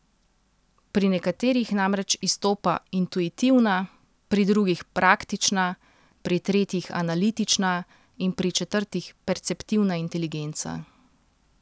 Pri nekaterih namreč izstopa intuitivna, pri drugih praktična, pri tretjih analitična in pri četrtih perceptivna inteligenca.